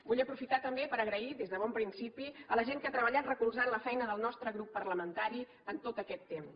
vull aprofitar també per agrair des de bon principi la gent que ha treballat recolzant la feina del nostre grup parlamentari en tot aquest temps